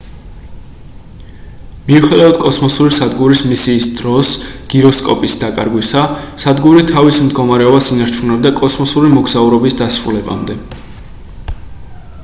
მიუხედავად კოსმოსური სადგურის მისიის დროს გიროსკოპის დაკარგვისა სადგური თავის მდგომარეობას ინარჩუნებდა კოსმოსური მოგზაურობის დასრულებამდე